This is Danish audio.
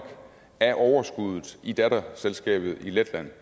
af overskuddet i datterselskabet i letland